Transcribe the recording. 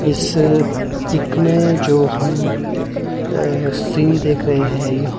इस पिक में जो हम अ सीन देख रहे हैं यह